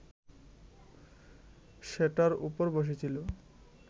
সেটার ওপর বসেছিল